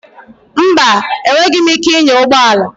Mba, enweghịm ike ịnya ụgbọ ala.